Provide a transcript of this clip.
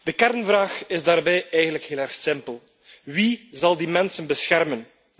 De kernvraag is daarbij eigenlijk heel erg simpel wie zal die mensen beschermen?